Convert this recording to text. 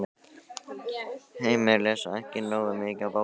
Heimir: Lesa ekki nógu mikið af bókum?